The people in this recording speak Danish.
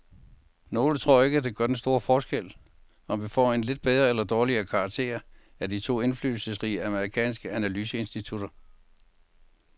Nogle tror ikke, det gør den store forskel, om vi får en lidt bedre eller dårligere karakter af de to indflydelsesrige amerikanske analyseinstitutter.